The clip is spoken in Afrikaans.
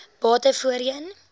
bate voorheen